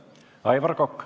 Aivar Kokk.